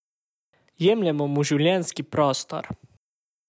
Jemljemo mu življenjski prostor.